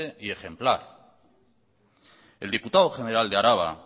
y ejemplar el diputado general de araba